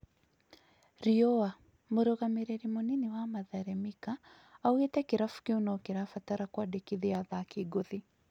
(Riũa) Mũrũgamĩrĩri munini wa Mathare Mika aũgĩte kĩrabu kĩu no kĩrabatara kwandĩkithia athaki ngũthi.